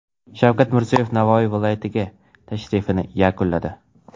Shavkat Mirziyoyev Navoiy viloyatiga tashrifini yakunladi.